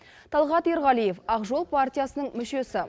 талғат ерғалиев ақ жол партиясының мүшесі